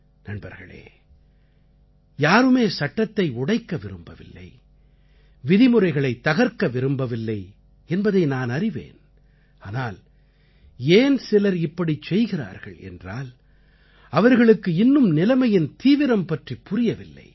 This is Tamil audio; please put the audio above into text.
நண்பர்களே யாருமே சட்டத்தை உடைக்க விரும்பவில்லை விதிமுறைகளைத் தகர்க்க விரும்பவில்லை என்பதை நானறிவேன் ஆனால் ஏன் சிலர் இப்படிச் செய்கிறார்கள் என்றால் அவர்களுக்கு இன்னும் நிலைமையின் தீவிரம் பற்றி புரியவில்லை